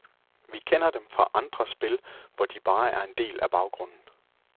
Vi kender dem fra andre spil, hvor de bare er en del af baggrunden.